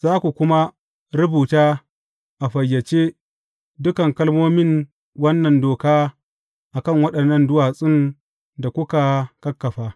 Za ku kuma rubuta a fayyace dukan kalmomin wannan doka a kan waɗannan duwatsun da kuka kakkafa.